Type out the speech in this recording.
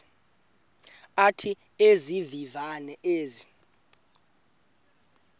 athi izivivane ezi